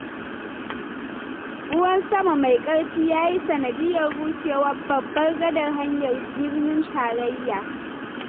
Ruwan sama mai ƙarfi ya yi sanadiyyar rushewar babbar gadar hanyar birnin tarayya.